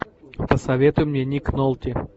посоветуй мне ник нолти